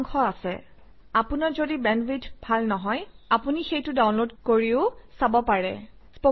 if you don't have good bandwidth you can download and watch it আপোনাৰ bandwidth ভাল নহলে আপুনি সেইটো ডাউনলোড কৰিও চাব পাৰে